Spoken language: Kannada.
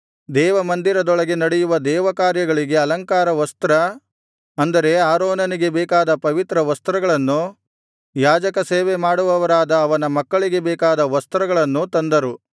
ದೇವಮಂದಿರದೊಳಗೆ ನಡೆಯುವ ದೇವರಕಾರ್ಯಗಳಿಗೆ ಅಲಂಕಾರ ವಸ್ತ್ರ ಅಂದರೆ ಆರೋನನಿಗೆ ಬೇಕಾದ ಪವಿತ್ರ ವಸ್ತ್ರಗಳನ್ನು ಯಾಜಕಸೇವೆ ಮಾಡುವವರಾದ ಅವನ ಮಕ್ಕಳಿಗೆ ಬೇಕಾದ ವಸ್ತ್ರಗಳನ್ನು ತಂದರು